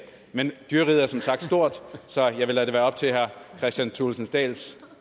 men dyreriget er som sagt stort så jeg vil lade det være op til herre kristian thulesen dahls